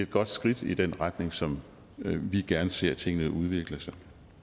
godt skridt i den retning som vi gerne ser tingene udvikle sig